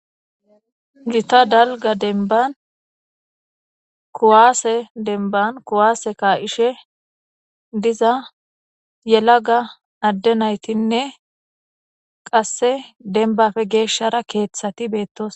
Gita dalga denban kuwaase denban kuwaase ka7ishe diza yela ga adde naytinne qasse denbafe geeshshara keeththati beettos